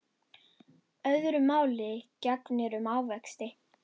Öðru máli gegnir um ávexti.